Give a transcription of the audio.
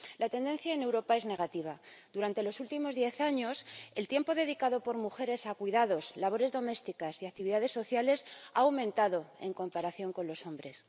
La tendencia en Europa es negativa durante los últimos diez años, el tiempo dedicado por mujeres a cuidados, labores domésticas y actividades sociales ha aumentado en comparación con los hombres.